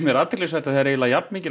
er athyglisvert að það er eiginlega jafnmikil